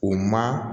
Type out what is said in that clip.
O ma